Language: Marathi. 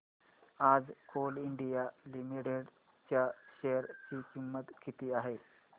आज कोल इंडिया लिमिटेड च्या शेअर ची किंमत किती आहे